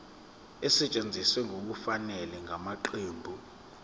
esetshenziswe ngokungafanele ngamaqembu